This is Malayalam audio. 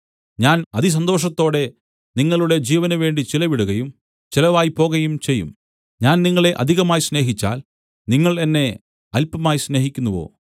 ഞാൻ അതിസന്തോഷത്തോടെ നിങ്ങളുടെ ജീവനുവേണ്ടി ചെലവിടുകയും ചെലവായിപ്പോകയും ചെയ്യും ഞാൻ നിങ്ങളെ അധികമായി സ്നേഹിച്ചാൽ നിങ്ങൾ എന്നെ അല്പമായി സ്നേഹിക്കുന്നുവോ